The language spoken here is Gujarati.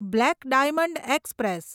black diamond express